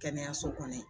Kɛnɛyaso kɔnɔ